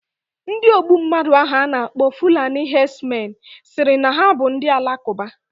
Ndi ogbu mmadu ahu ana akpo fulani herdsmen siri na ha bu Ndị Alakụba.